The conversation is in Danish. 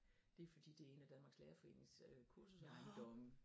Det fordi det en af Danmarks lærerforenings øh kursusejendomme